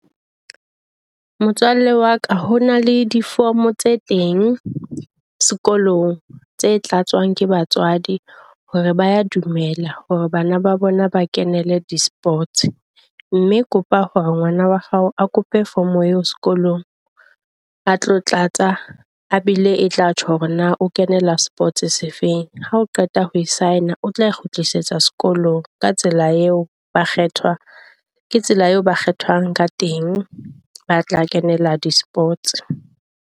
Motswalle wa ka ho na le di-form tse teng sekolong tse tlatswang ka batswadi hore ba ya dumela hore bana ba bona ba kenele di-sports. Mme kopa hore ngwana wa hao a kope form eo sekolong a tlo tlatsa, a bile e tla tjho hore na o kenela sports se feng. Ha o qeta ho sign-a o tla e kgutlisetsa sekolong ka tsela eo ba kgethwa ke tsela eo ba kgethwang ka teng, ba tla kenela di-sports.